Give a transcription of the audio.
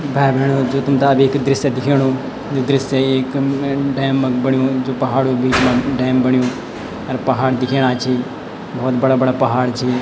भाई भैणों जो तुम्थे अब एक दृश्य दिखेणु यु दृश्य एक म डैम क बण्युं जो पहाड़ो क बीच मा डैम बण्युं अर पहाड़ दिखेणा छि भौत बड़ा बड़ा पहाड़ छी।